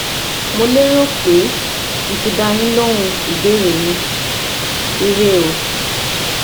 Mo lérò pé mo ti dá a yín lóhun ìbéèrè yín, Ire o